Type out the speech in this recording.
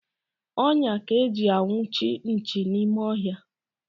Ọnyá ka eji anwụchi nchi n'ime ọhịa.